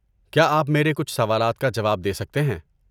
کیا آپ میرے کچھ سوالات کا جواب دے سکتے ہیں؟